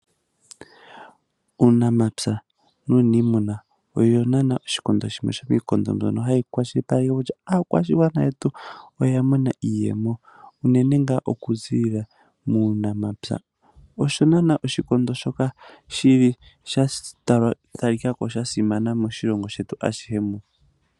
Uunamapya nuunimuna oyo nana yimwe yomiikondo mbyoka hayi shilipaleke kutya aakwashigwana yetu oyamona iiyemo uunene ngaa okuziilila muunamapya osho nana shili shatalikako shasimana moshilongo shutu ashihe muno.